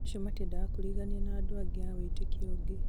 acio matiendaga kũrigania na andũ angĩ a wĩtĩkio ũngĩ